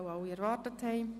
–Möchte er nicht.